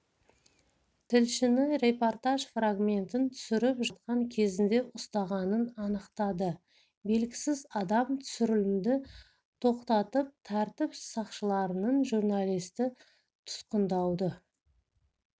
тілшіні репортаж фрагментін түсіріп жатқан кезінде ұстағанын анықтады белгісіз адам түсірілімді тоқтатып тәртіп сақшыларынан журналисті тұтқындауды